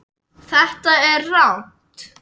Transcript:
Þetta er rangt.